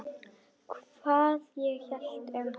Hvað ég hélt um hann?